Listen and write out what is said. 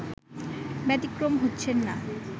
ব্যাতিক্রম হচ্ছেন না